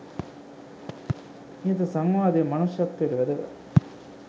ඉහත සංවාදය මනුෂ්‍යත්වයට වැදගත්.